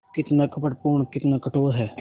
कितना कपटपूर्ण कितना कठोर है